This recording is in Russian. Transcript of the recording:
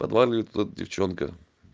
подваливает вот эта девчонка